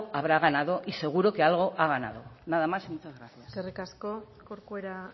habrá ganado y seguro que algo ha ganado nada más y muchas gracias eskerrik asko corcuera